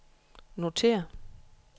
notér